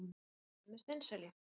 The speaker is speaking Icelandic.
Skreytið með steinselju.